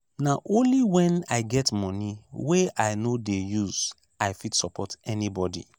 na only wen i get moni wey i no dey use i fit support anybodi.